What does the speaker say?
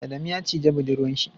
Adamu ya cije buɗurwan shi.